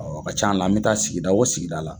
o ka caan la an bɛ taa sigida o sigida la.